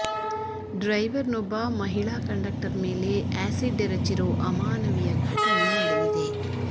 driver ನೊಬ್ಬ ಮಹಿಳಾ conductor ಮೇಲೆ ಆ್ಯಸಿಡ್ ಎರಚಿರೋ ಅಮಾನವೀಯ ಘಟನೆ ನಡೆದಿದೆ